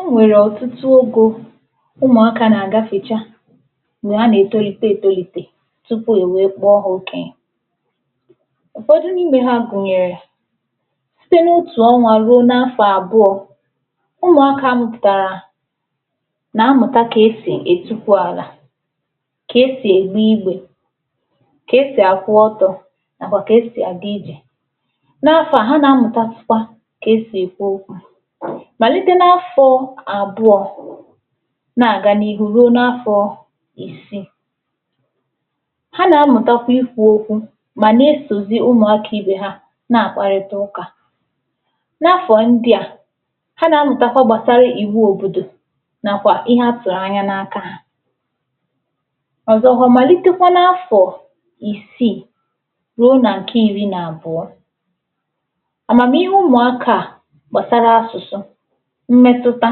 E nwere ọtụtụ egō ụmụakà na-agafechà m̄gbe ha na-etolite etolite tupu e wee kpọ ha okenyè ụfọdụ̀ n’ime ha gunyerè sitē n’otù ọnwà ruo n’afọ̀ abụọ̀ ụmụakà amụpụtarà na-amụtà ka esi etukwù alà ka esì egbe igbe ka esi akwụ ọtọ nakwà ka esi aga ijè n’afọ à, ha na-amụtasịkwà ka esi ekwu okwù malite n’afọ̀ abụọ̀ na-aga n’ihu ruo n’afọọ isì ha na-amụtakwà ikwu okwù ma na-esozì ụmụakà ibe ha na-akparịtà ụkà n’afọ ndị à ha na-amụtakwà gbasarà iwu òbodò nakwà ihe atụrụ̀ anya n’akà ha ọzọkwà, malitekwà n’afọ̀ isì ruo na nke iri na abụọ̀ amamihe ụmụakà à gbasarà asụsụ̀ mmetutà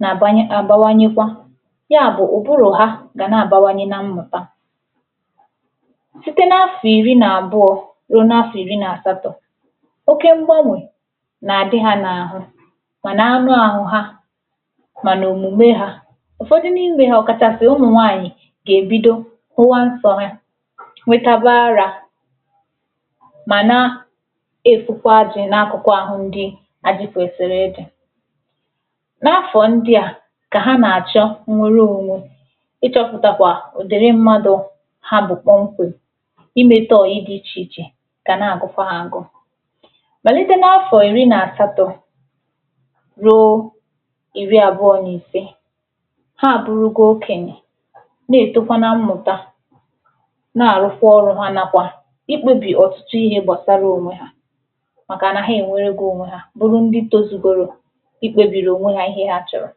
na-agbanye, na-abawanyekwà ya bụ̀ ụbụrụ̀ ha ga na-abawanye na mmụtà sitē n’afọ̀ iri na abụọ̀ ruo n’afọ̀ iri na asaatọ̀ oke mgbanwe na-adị ha n’ahụ̀ mana anụ ahụ̀ ha mana omume ha ụfọdụ̀ n’ime hà ọkachasị̀ ụmụ nwaanyị̀ ga-ebido fụwà nsọ ha nwetakwà arà ma naa efukwà ajị n’akụkụ̀ ahụ ndị ajị kwesiri ịdị̀ n’afọ ndị à ka ha na-achọ̀ nnwere onwe ịchọpụtakwà ụdịrị̀ mmadụ̀ ha bụ̀ kpokwem imete ọyị̀ dị iche ichè ka na-agụkwà ha agụ malite n’afọ̀ iri na asaatọ̀ ruo iri abụọ̀ na isè ha burugo okenyè na-etokwa na mmụtà na-arụkwà ọrụ ha nakwà ikpebi ọtụtụ ihe gbasarà onwe ha makà na ha enwerego onwe ha bụrụ̀ ndị tozugorò ikpebiri onwe ihe ha chọrọ̀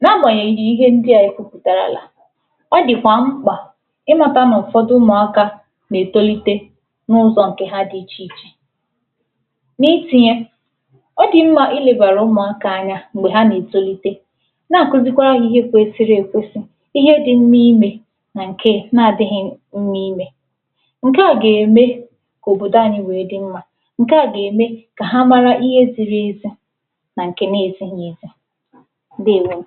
na-agbanyeghì n’ihe ndị à e kwupù da ya alà ọdịkwà m̄kpà ịmatà na ụfọdụ̀ ụmụakà na-etolite n’ụzọ̀ nke ha dị iche ichè n’itinye ọ dị mma ilebarà ụmụakà anya m̄gbe ha na-etolite n’akuzikwarà ha ihe kwesiri ekwesì ihe dị n’imè na nke na-adighi nụ̀ niile nke à ga-eme ka òbodò anyị̀ wee dị̀ mma nke à ga-eme ka ha marà ihe ziri ezi na nke na-ezighi ezi. Ndewonu!